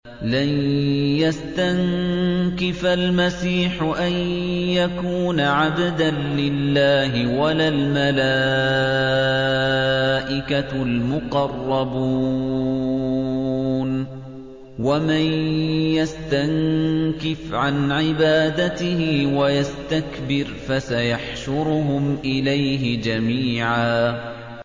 لَّن يَسْتَنكِفَ الْمَسِيحُ أَن يَكُونَ عَبْدًا لِّلَّهِ وَلَا الْمَلَائِكَةُ الْمُقَرَّبُونَ ۚ وَمَن يَسْتَنكِفْ عَنْ عِبَادَتِهِ وَيَسْتَكْبِرْ فَسَيَحْشُرُهُمْ إِلَيْهِ جَمِيعًا